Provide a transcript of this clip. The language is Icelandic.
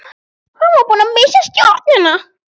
Hann var búinn að missa stjórnina.